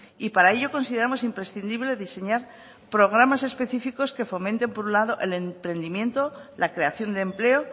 y para ello consideramos imprescindible diseñar programas específicos que fomenten por un lado el emprendimiento la creación de empleo